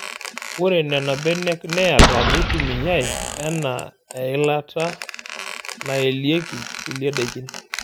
Ore nena benek naayiata neitumiyay enaa eilata nayelieki kulie daikin.